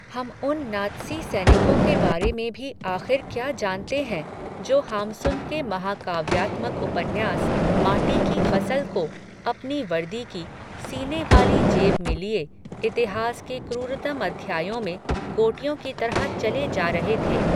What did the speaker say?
हम उन नात्सी सैनिकों के बारे में भी आख़िर क्या जानते हैं, जो हाम्सुन के महाकाव्यात्मक उपन्यास, माटी की फ़सल को, अपनी वर्दी की, सीने वाली जेब में लिए, इतिहास के क्रूरतम अध्यायों में, गोटियों की तरह चले जा रहे थे